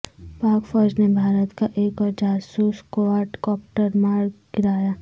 پاک فوج نے بھارت کا ایک اورجاسوس کواڈکاپٹر مار گرایا